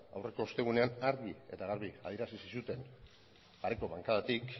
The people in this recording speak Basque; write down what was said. aurreko ostegunean argi eta garbi adierazi zizuten pareko bankadatik